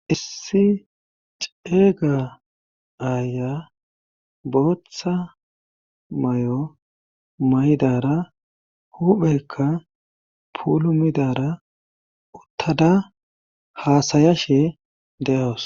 Issi ceega aaya bootha may7o may7dara hupheykka puulumidara uttada haasaya she de7awos.